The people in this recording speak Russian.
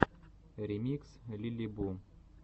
ремикс лилибу